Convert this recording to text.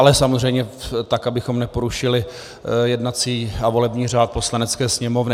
Ale samozřejmě tak, abychom neporušili jednací a volební řád Poslanecké sněmovny.